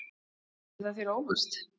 Kemur það þér á óvart?